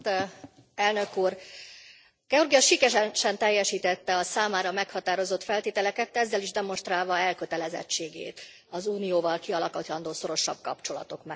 Elnök Úr, Georgia sikeresen teljesítette a számára meghatározott feltételeket, ezzel is demonstrálva elkötelezettségét az Unióval kialakítandó szorosabb kapcsolatok mellett.